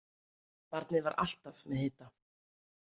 Barnið var alltaf með hita.